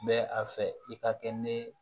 Bɛ a fɛ i ka kɛ ne